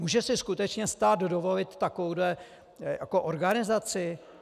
Může si skutečně stát dovolit takovouhle organizaci?